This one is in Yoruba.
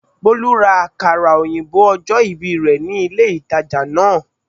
Bólú ra àkàrà òyìnbó ojó ìbì rè ní ilé ìtajà náà